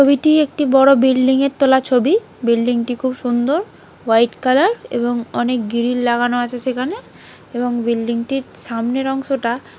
ছবিটি একটি বড় বিল্ডিঙ -এর তোলা ছবি বিল্ডিং -টি খুব সুন্দরহোয়াইট কালার এবং অনেক গিরিল লাগানো আছে সেখানে এবং বিল্ডিং -টির সামনের অংশটা--